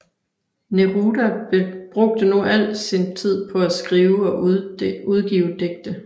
Neruda brugte nu al sin tid på at skrive og udgive digte